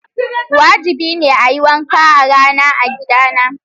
Wajibi ne a yi wanka a rana a gidana.